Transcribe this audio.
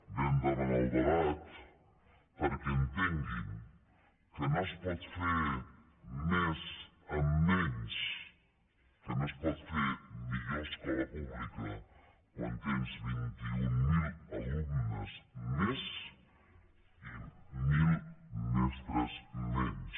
vam demanar el debat perquè entenguin que no es pot fer més amb menys que no es pot fer millor escola pública quan tens vint mil alumnes més i mil mestres menys